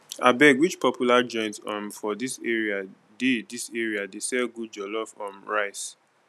abeg which popular joint um for dis area dey dis area dey sell good jollof um rice